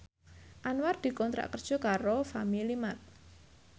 Anwar dikontrak kerja karo Family Mart